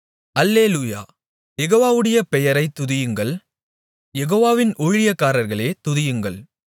அல்லேலூயா யெகோவாவுடைய பெயரைத் துதியுங்கள் யெகோவாவின் ஊழியக்காரர்களே துதியுங்கள்